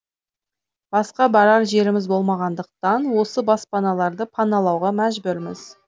басқа барар жеріміз болмағандықтан осы баспаналарды паналауға мәжбүрміз